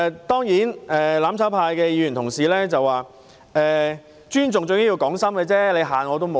當然，"攬炒派"的議員又指出，尊重最重要是講心，嚇人沒有用。